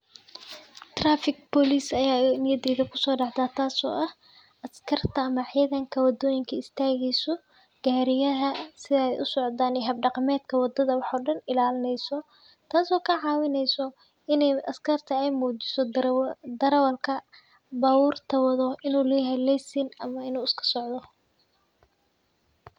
Traffic Police ayaa niyadeeda kusoo dhacdaa taas oo ah askarta ama ciidanka waddooyinka istaageyso gaariyaha sida ay u socdaan hab-dhaqameedka waddada waxoodan ilaalineyso, taas oo ka caawinayso inay askarta ay muujiso darawa-darawalka baabuurta wado inuu leeyahay leysin ama inuu iska socdo.